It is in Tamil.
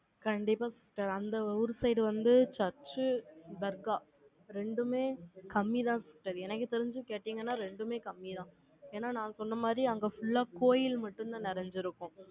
கண்டிப்பா sister அந்த ஒரு side வந்து, church, தர்கா, ரெண்டுமே கம்மிதான் sister எனக்கு தெரிஞ்சு கேட்டீங்கன்னா, ரெண்டுமே கம்மிதான். ஏன்னா, நான் சொன்ன மாதிரி, அங்க full ஆ கோயில் மட்டும்தான் நிறைஞ்சிருக்கும்.